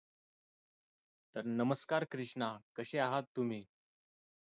नमस्कार कृष्णा कसे आहात तुम्ही